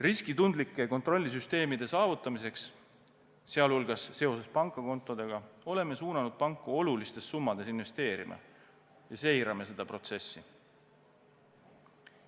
Riskitundlike kontrollisüsteemide saavutamiseks, sh seoses pangakontodega, oleme suunanud panku olulistes summades investeerima ja seirame seda protsessi.